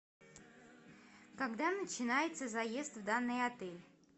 когда начинается заезд в данный отель